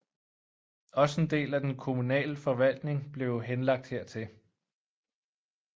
Også en del af den kommunale forvaltning blev henlagt hertil